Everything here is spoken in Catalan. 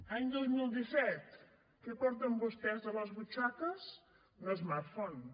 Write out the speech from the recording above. any dos mil disset què porten vostès a les butxaques un smartphone